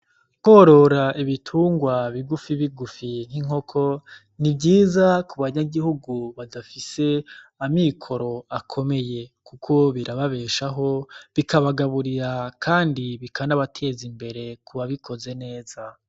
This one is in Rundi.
Ukworora ibitunrwa bigufi bigufi nk'inkoko ni vyiza ku banyagihugu badafise amikoro akomeye. Kuko birababeshaho ,bikabagaburira kandi bikanabatez'imbere kubabikoze neza.